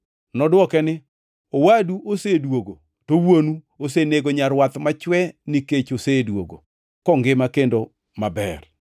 Nodwoke ni, ‘Owadu osedwogo, to wuonu osenego nyarwath machwe nikech osedwogo kongima kendo maber.’